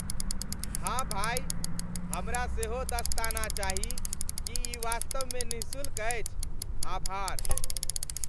हाँ भाई, हमरा सेहो दस्ताना चाही। की ई वास्तवमे निःशुल्क अछि? आभार!